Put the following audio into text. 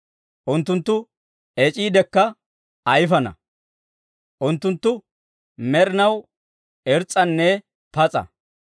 Unttunttu ec'iidekka ayifana; unttunttu med'inaw irs's'anne pas'a.